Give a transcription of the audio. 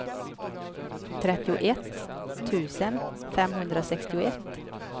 trettioett tusen femhundrasextioett